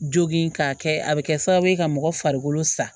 Jogin k'a kɛ a bɛ kɛ sababu ye ka mɔgɔ farikolo sa